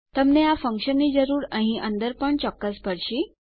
તમને આ ફંક્શનની જરૂર અહીં અંદર પણ ચોક્કસ પડશે